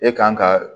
E kan ka